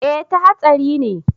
eh ta hatsari ne